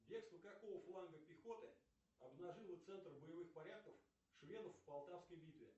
бегство какого фланга пехоты обнажило центр боевых порядков шведов в полтавской битве